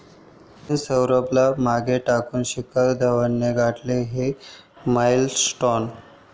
सचिन, सौरवला मागे टाकून शिखर धवनने गाठला 'हा' माईलस्टोन